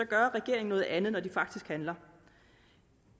gør regeringen noget andet når den faktisk handler